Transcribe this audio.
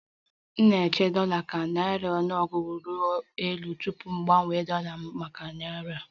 Naanị m na-eche dollar ka naira ọnụego ịrị elu tupu m gbanwee dollar m maka naira